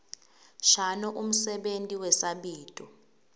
shano umsebenti wesabito